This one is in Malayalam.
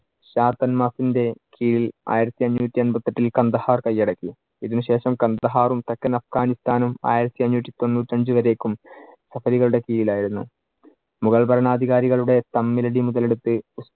കീഴിൽ ആയിരത്തിയഞ്ഞൂറ്റി എമ്പത്തിയെട്ടിൽ കണ്ഡഹാർ കയ്യടക്കി. ഇതിനു ശേഷം കണ്ഡഹാറും തെക്കൻ അഫ്ഘാനിസ്താനും ആയിരത്തിയഞ്ഞൂറ്റി തൊണ്ണൂറ്റിയഞ്ചു വരേക്കും കപ്പലുകളുടെ കീഴിൽ ആയിരുന്നു. മുഗൾ ഭരണാധികാരികളുടെ തമ്മിൽ അടി മുതൽ എടുത്ത്,